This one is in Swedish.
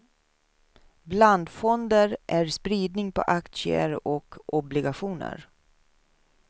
Blandfonder är spridning på aktier och obligationer.